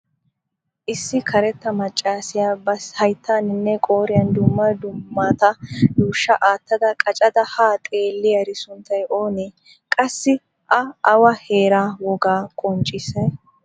Issi karetta maccassiya ba hayttaninne qooriyan dumma dummata yuushsha aattada qachchada ha xeeliyari sunttay oonee? Qassi a awa heera wogaa qonccissay?